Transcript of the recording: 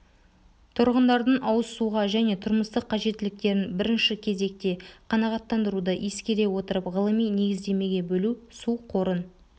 тұрғындардың ауызсуға және тұрмыстық қажеттіліктерін бірінші кезекте қанағаттандыруды ескере отырып ғылыми негіздемеге бөлу су қорын